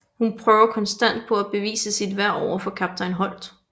Hun prøver konstant på at bevise sit værd overfor Kaptajn Holt